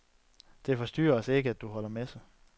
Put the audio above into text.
Det forstyrrer ikke os, at du holder messe.